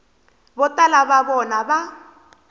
vo tala va vona va